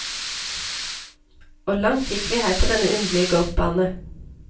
Og langt gikk vi her på denne underlige golfbane.